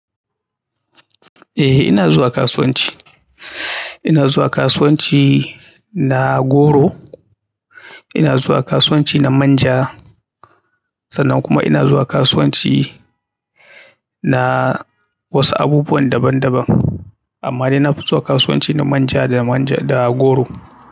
Eh ina zuwa kasuwanci. Ina zuwa kasuwanci na goro, ina zuwa kasuwanci na manja sannan kuma ina zuwa kasuwanci na wasu abubuwan daban daban. Amma dai na fi zuwa kasuwanci na manja da manja da goro.